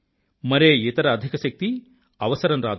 మరే ఇతర అధికశక్తి అవసరం రాదు